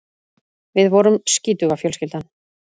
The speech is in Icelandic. Við vorum skítuga fjölskyldan.